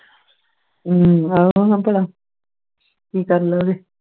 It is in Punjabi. ਹਮ ਭਲਾਂ ਕਿ ਕਰ ਲੋਗੇ